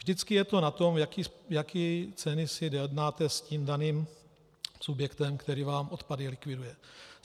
Vždycky je to na tom, jaké ceny si dojednáte s tím daným subjektem, který vám odpady likviduje.